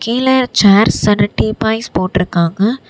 இதுல chairs and teapoys போட்டுருக்காங்க.